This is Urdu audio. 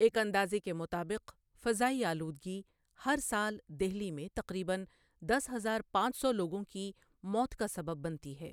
ایک اندازے کے مطابق، فضائی آلودگی ہر سال دہلی میں تقریباً دس ہزار پانچ سو لوگوں کی موت کا سبب بنتی ہے۔